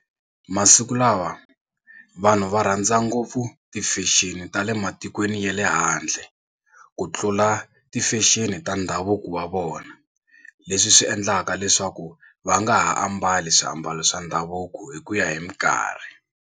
Masiku lawa vanhu va rhandza ngopfu ti-fashion ta le matikweni ya le handle ku tlula ti-fashion ta ndhavuko wa vona leswi swi endlaka leswaku va nga ha ambali swiambalo swa ndhavuko hi ku ya hi mikarhi.